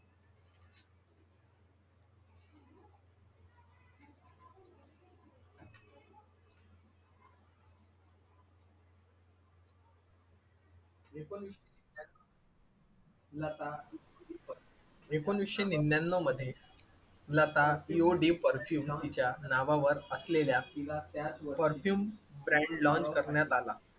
एकोणीसशे लता एकोणीसशे निन्यान्नव मध्ये, लता यु डी परफ्युम तिच्या नावावर असलेल्या तिला त्या परफ्युम ब्रँड लॉन्च करण्यात आला.